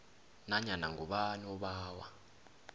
nanyana ngubani obawa